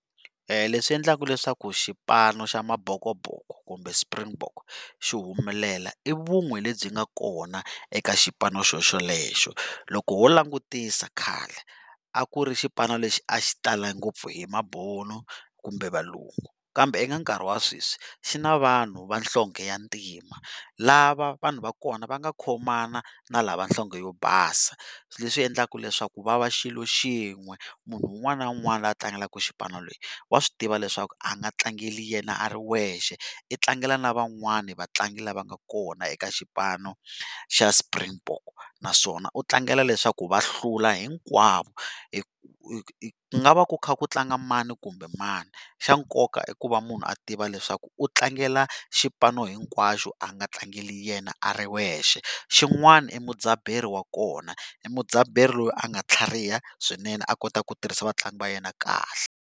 Leswi endlaka leswaku xipano xa mabhokobhoko kumbe Springbok xi humelela i vun'we lebyi nga kona eka xipano xo xolexo. Loko ho langutisa khale a ku ri xipano lexi a xi tale ngopfu hi mabunu kumbe valungu, kambe eka nkarhi wa sweswi xi na vanhu va nhlonghe ya ntima lava vanhu va kona va nga khomana na lava nhlonghe yo basa, leswi endlaku leswaku va va xilo xin'we munhu un'wana na un'wana a tlangelaka xipano lexi wa swi tiva leswaku a nga tlangeli yena a ri wexe u tlangela na van'wana vatlangi lava nga kona eka xipano xa Springbok, naswona u tlangela leswaku va hlula hinkwavo ku nga va ku kha ku tlanga mani kumbe mani, xa nkoka i ku va munhu a tiva leswaku u tlangela xipano hinkwaxo a nga tlangela yena a ri wexe, xin'wana i mudzaberi wa kona i mudzaberi loyi a nga tlhariha swinene a kota ku tirhisa vatlangi va yena kahle.